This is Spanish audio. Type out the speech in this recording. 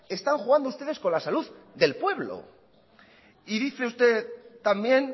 están jugando ustedes con la salud del pueblo y dice usted también